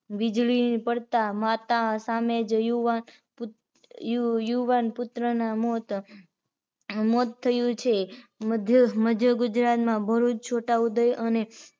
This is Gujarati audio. વિજળી પડતાં માતા સામે જ યુવાન યુવાન પુત્ર મોત થયું છે મધ્યગુજરાતમાં ભરૂચ, છોટાઉદેપુર અને